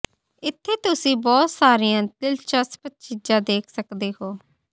ਇੱਥੇ ਤੁਸੀਂ ਬਹੁਤ ਸਾਰੀਆਂ ਦਿਲਚਸਪ ਚੀਜ਼ਾਂ ਦੇਖ ਸਕਦੇ ਹੋ